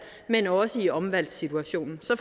men også i omvalgssituationen så